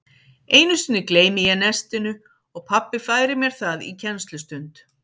Einu sinni gleymi ég nestinu og pabbi færir mér það í kennslustund.